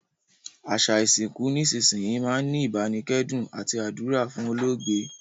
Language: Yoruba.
Àsà ìsinkù nísinsìnyi máa n ni ìbánikẹ́dùn àti àdúrà fún olóògbé